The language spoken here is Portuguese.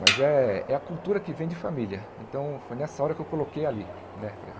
Mas é é a cultura que vem de família, então foi nessa hora que eu coloquei ali.